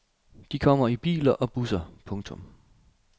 De kommer i biler og busser. punktum